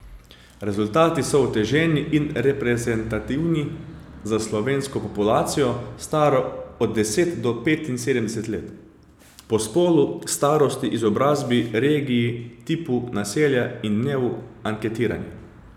Rezultati so uteženi in reprezentativni za slovensko populacijo, staro od deset do petinsedemdeset let po spolu, starosti, izobrazbi, regiji, tipu naselja in dnevu anketiranja.